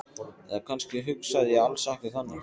Eða kannski hugsaði ég alls ekki þannig.